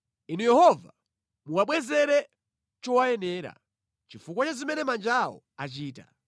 Inu Yehova, muwabwezere chowayenera, chifukwa cha zimene manja awo achita.